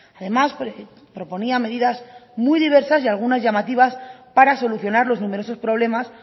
además proponía medidas muy diversas y algunas llamativas para solucionar los numerosos problemas